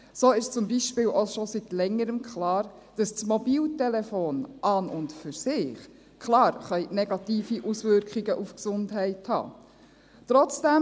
So ist zum Beispiel auch schon seit Längerem klar, dass das Mobiltelefon an und für sich klar negative Auswirkungen auf die Gesundheit haben kann.